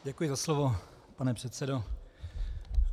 Děkuji za slovo, pane předsedo.